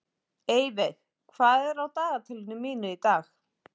Eyveig, hvað er á dagatalinu mínu í dag?